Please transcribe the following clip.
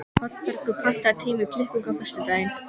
Oddbergur, pantaðu tíma í klippingu á föstudaginn.